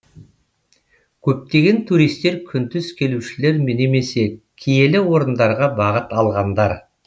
көптеген туристер күндіз келушілер немесе киелі орындарға бағыт алғандар